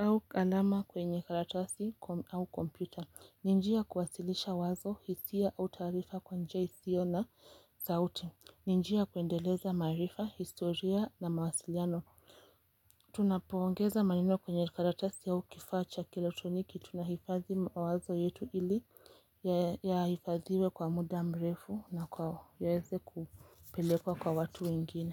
au alama kwenye karatasi au kompyuta. Ni njia ya kuwasilisha wazo, hisia au taarifa kwenye isiyo na sauti. Ni njia ya kuendeleza maarifa, historia na mawasiliano. Tunapoongeza maneno kwenye karatasi au kifaa cha kieletroniki. Tunahifadhi mawazo yetu ili yahifadhiwe kwa muda mrefu na yaweze kupelekwa kwa watu wengine.